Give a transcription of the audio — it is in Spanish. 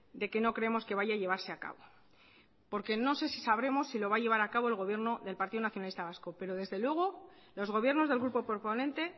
de que no creemos que vaya a llevarse a cabo porque no sé si sabremos si lo va a llevar a cabo el gobierno del partido nacionalista vasco pero desde luego los gobiernos del grupo proponente